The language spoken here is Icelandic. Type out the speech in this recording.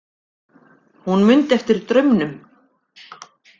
Hún mundi eftir draumnum.